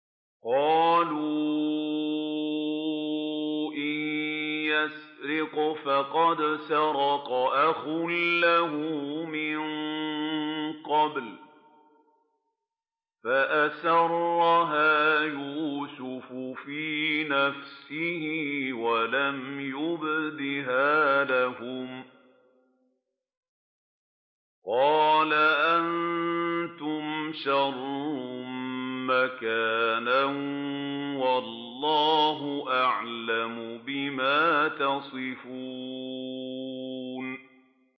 ۞ قَالُوا إِن يَسْرِقْ فَقَدْ سَرَقَ أَخٌ لَّهُ مِن قَبْلُ ۚ فَأَسَرَّهَا يُوسُفُ فِي نَفْسِهِ وَلَمْ يُبْدِهَا لَهُمْ ۚ قَالَ أَنتُمْ شَرٌّ مَّكَانًا ۖ وَاللَّهُ أَعْلَمُ بِمَا تَصِفُونَ